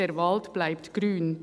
«Der Wald bleibt grün.